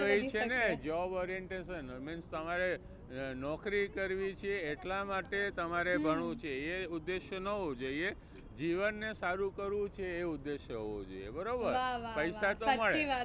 તો એ જ છે ને job orientation means તમારે નોકરી કરવી છે એટલા માટે તમારે ભણવું છે એ ઉદેશ ના હોવો જોઈએ. એ જીવન ને સારું કરવું છે એ ઉદેશ હોવો જોઈએ. બરોબર પૈસા તો મળે.